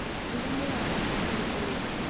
mbura nĩ ya bata harĩ ũrĩmi .